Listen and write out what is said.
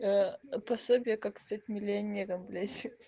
аа пособие как стать миллионером блять хе хе